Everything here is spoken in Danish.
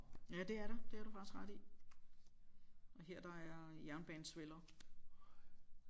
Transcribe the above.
Ja det er der det har du faktisk ret i og her der er jernbanesveller